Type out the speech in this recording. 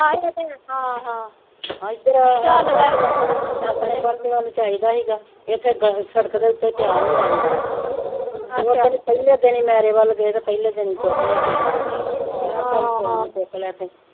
ਇਥੇ ਸੜਕ ਦੇ ਉਤੇ ਪੇਆ ਹੁੰਦਾ ਸੀਗਾ ਉਦਣੇ ਪਹਿਲੇ ਦਿਨੇ ਮੇਰੇ ਵੱਲ ਗਏ ਤੇ ਪਹਿਲੇ ਦਿਨ ਹੀ ਚੁੱਕ ਲੇਆ ਕਿਸੇ ਨੇ ਮਹਾ ਚਲ ਕੋਈ ਨੀ ਚੁਕਲੇਆ ਤੇ